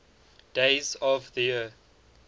days of the year